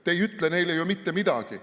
Te ei ütle neile ju mitte midagi.